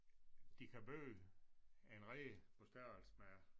De kan bygge en rede på størrelse med